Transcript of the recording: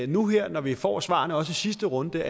nu her når vi får svarene også i sidste runde giver